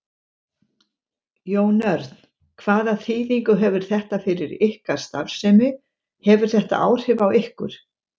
Jón Örn: Hvaða þýðingu hefur þetta fyrir ykkar starfsemi, hefur þetta áhrif á ykkur?